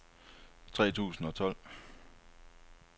tre tusind og tolv